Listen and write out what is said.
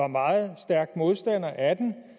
meget stærk modstander af den